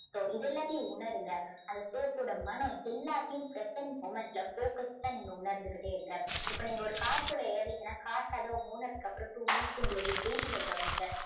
சத்தம் இது எல்லாத்தையும் உணருங்க. அந்த soap ஓட மணம் எல்லாத்தையும் present moment ல focused டா நீங்க உணர்ந்துக்கிட்டே இருங்க. இப்போ நீங்க ஒரு car குள்ள ஏர்றீங்கன்னா car கதவு மூடினதுக்கப்புறம் two minutes உங்க dating அ கவனிங்க.